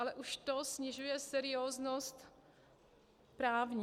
Ale už to snižuje serióznost právní.